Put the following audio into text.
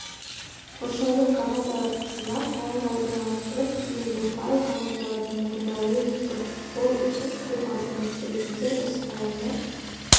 қоршаудың командалар тізімі файлға орналастырылып кейін бұл файл командалармен орындалуы мүмкін ол үшін кіру аргументті ретінде осы файлмен